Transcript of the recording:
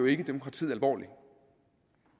ikke demokratiet alvorligt